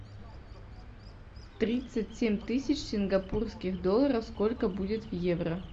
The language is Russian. тридцать семь тысяч сингапурских долларов сколько будет в евро